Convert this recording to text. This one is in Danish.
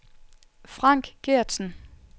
Frank Geertsen